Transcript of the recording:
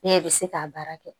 Ne bɛ se k'a baara kɛ